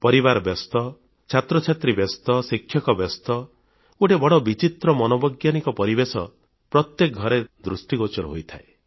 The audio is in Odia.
ପରିବାର ବ୍ୟସ୍ତ ଛାତ୍ରଛାତ୍ରୀ ବ୍ୟସ୍ତ ଶିକ୍ଷକ ବ୍ୟସ୍ତ ଗୋଟିଏ ବଡ଼ ବିଚିତ୍ର ମନୋବୈଜ୍ଞାନିକ ପରିବେଶ ପ୍ରତ୍ୟେକ ଘରେ ଦୃଷ୍ଟିଗୋଚର ହୋଇଥାଏ